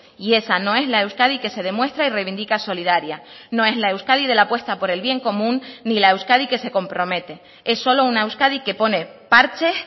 y esa no es la euskadi que se demuestra y reivindica solidaria no es la euskadi de la apuesta por el bien común ni la euskadi que se compromete es solo una euskadi que pone parches